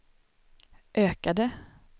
ökade